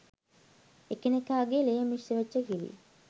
එකිනෙකාගෙ ලේ මිශ්‍රවෙච්ච කිරි